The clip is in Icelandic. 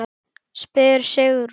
spyr Sigrún.